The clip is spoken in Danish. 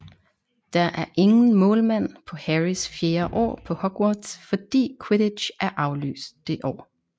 Der er ingen målmand på Harrys fjerde år på Hogwarts fordi quidditch er aflyst det år